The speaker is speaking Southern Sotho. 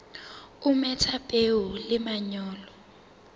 o metha peo le manyolo